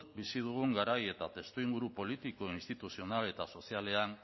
bizi dugun garai eta testuinguru politiko instituzional eta sozialean